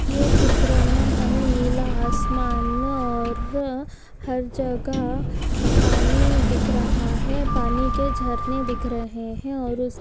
यह चित्र मे हमे नीला आसमान और हर जगह पानी दिख रहा है पानी के झरने दिख रहे है और उस--